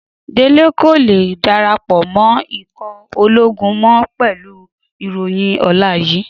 Délé kò lè darapọ̀ mọ́ ikọ̀ ológun mọ́ pẹ̀lú ìròyìn ọ̀la yìí.